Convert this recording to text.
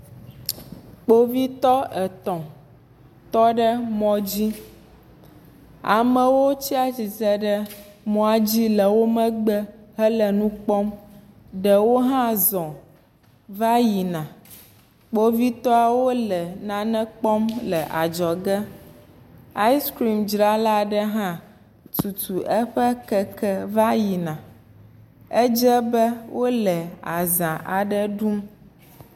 Kpovitɔ etɔ̃ tɔ ɖe mɔdzi, amewo tsatsitre ɖe mɔa dzi le wo megbe hele nu kpɔm, ɖewo hã zɔ va yina, kpovitɔwo le nane kpɔm le adzɔge, ayskrimdzrala aɖe hã tutu eƒe keke va yina, edze be wole aza aɖe ɖum.